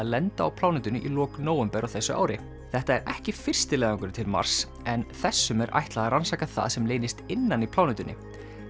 lenda á plánetunni í lok nóvember á þessu ári þetta er ekki fyrsti leiðangurinn til Mars en þessum er ætlað að rannsaka það sem leynist innan í plánetunni